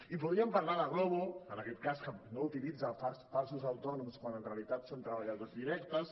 i podríem parlar de glovo que en aquest cas no utilitza falsos autònoms quan en realitat són treballadors directes